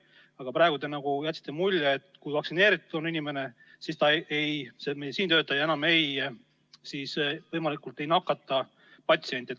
Aga praegu te jätsite mulje, et kui on vaktsineeritud meditsiinitöötaja, siis ta enam ei nakata patsienti.